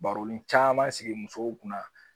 Baronin caaman sigi musow kunna